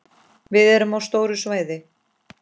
Við erum á stóru svæði.